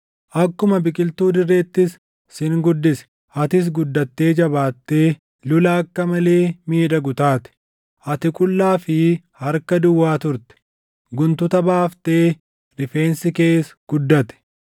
Akkuma biqiltuu dirreettis sin guddise. Atis guddattee jabaattee lula akka malee miidhagu taate. Ati qullaa fi harka duwwaa turte, guntuta baaftee rifeensi kees guddate.